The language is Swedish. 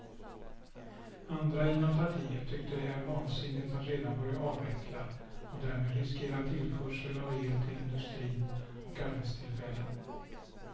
Andra inom partiet tycker det är vansinnigt att redan börja avveckla och därmed riskera tillförsel av el till industrin och arbetstillfällen.